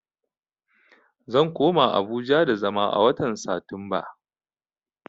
Zan koma Abuja da zama a watan Satumba